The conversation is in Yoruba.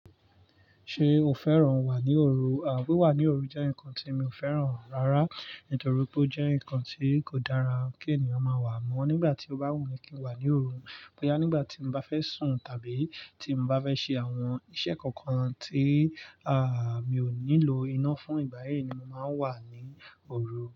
Ṣé o fẹ́ràn wà ní òru? À wíwà ní òru jẹ́ nǹkan tí mi ò fẹ́ràn rárá, nítorí pé ó jẹ́ nǹkan tí kò dára kí ènìyàn máa wà mọ́. Nígbà tí o bá wùn mi kí n wà ní òru, pé á nígbà tí mo bá fẹ́ sùn tàbí tí mo bá fẹ́ ṣe àwọn iṣẹ́ kankan tí, à, mi ò nílò iná fún, ìgbà yẹn ni mo máa ń wà ní òru.